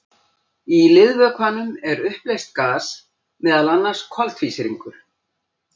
Í liðvökvanum er uppleyst gas, meðal annars koltvísýringur.